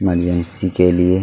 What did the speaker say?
के लिए।